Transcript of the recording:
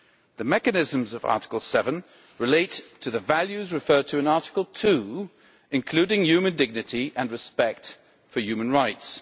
The mechanisms of Article 7 relate to the values referred to in Article 2, including human dignity and respect for human rights.